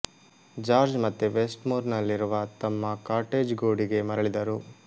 George ಮತ್ತೆ West Moor ನಲ್ಲಿರುವ ತಮ್ಮ ಕಾಟೇಜ್ ಗೂಡಿಗೆ ಮರಳಿದರು